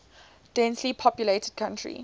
densely populated country